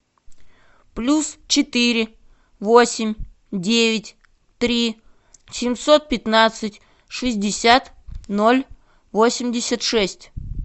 плюс четыре восемь девять три семьсот пятнадцать шестьдесят ноль восемьдесят шесть